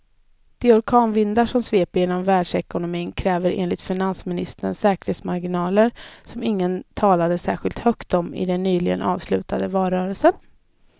De orkanvindar som sveper genom världsekonomin kräver enligt finansministern säkerhetsmarginaler som ingen talade särskilt högt om i den nyligen avslutade valrörelsen.